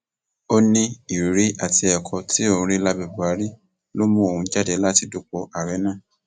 ó ní ìrírí àti ẹkọ tí òun rí lábẹ buhari ló mú òun jáde láti dupò ààrẹ náà